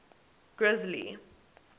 grizzly